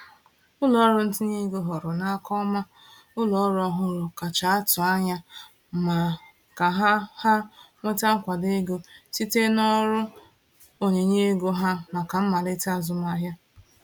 Ụlọọrụ ntinye ego họọrọ n’aka ọma ụlọọrụ ọhụrụ kacha atụ anya mma ka ha ha nweta nkwado ego site n’ọrụ onyinye ego ha maka mmalite azụmahịa.